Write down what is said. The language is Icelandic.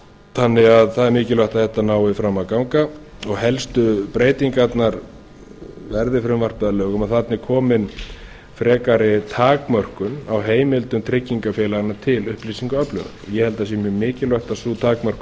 þannig að það er mikilvægt að þetta nái fram að ganga og helstu breytingarnar verði frumvarpið að lögum og þarna er komin frekari takmörkuð á heimildum tryggingafélaganna til upplýsingaöflunar ég held að það sé mjög mikilvægt að sú takmörkun